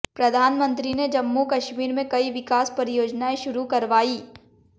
प्रधानमंत्री ने जम्मू कश्मीर में कई विकास परियोजनाएं शुरु करवाईं